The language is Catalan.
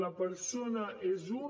la persona és una